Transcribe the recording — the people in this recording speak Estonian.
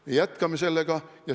Me jätkame sellega.